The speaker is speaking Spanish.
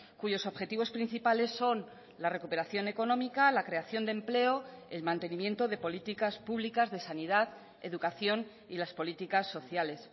cuyos objetivos principales son la recuperación económica la creación de empleo el mantenimiento de políticas públicas de sanidad educación y las políticas sociales